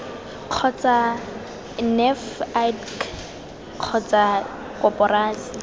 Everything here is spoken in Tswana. kgotsa nef idc kgotsa koporasi